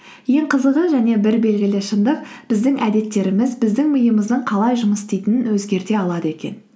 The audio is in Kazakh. ең қызығы және бір белгілі шындық біздің әдеттеріміз біздің миымыздың қалай жұмыс істейтінін өзгерте алады екен